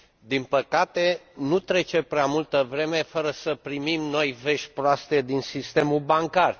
Din păcate, nu trece prea multă vreme fără să primim noi vești proaste din sistemul bancar.